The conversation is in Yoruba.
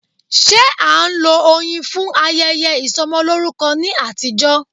Ṣé a ń lo oyin fún ayẹyẹ Ìsọmọlórúkọ ní àtijọ́.